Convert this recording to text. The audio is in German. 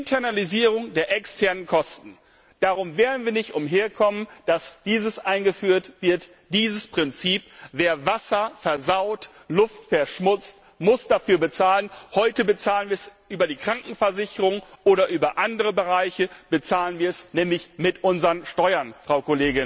Internalisierung der externen Kosten wir werden nicht umhinkommen, dass dieses Prinzip eingeführt wird Wer Wasser versaut, Luft verschmutzt, muss dafür bezahlen. Heute bezahlen wir es über die Krankenversicherung oder über andere Bereiche, wir bezahlen es nämlich mit unseren Steuern, Frau